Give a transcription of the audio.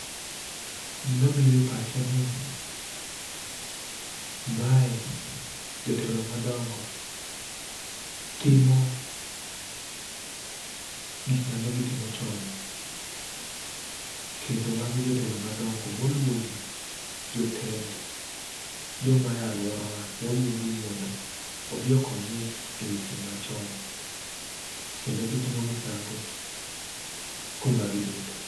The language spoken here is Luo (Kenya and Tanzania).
Gima bire pacha ni mae jotelo madongo, timo gik mane gitimo chon kendo magi jotelo madongo moluongi. Jotend joma ae aluora wa moluongi ni mondo obi okony e weche machon kendo gitimo misango kuma gibete.